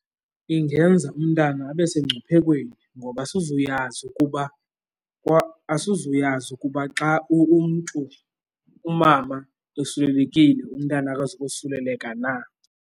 Ingenza umntana abe sengcuphekweni ngoba asizuyazi ukuba ngoba asizuyazi ukuba xa umntu, umama esulelekile, umntana akazukosuleleka na.